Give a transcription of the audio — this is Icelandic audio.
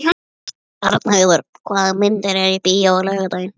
Arnheiður, hvaða myndir eru í bíó á laugardaginn?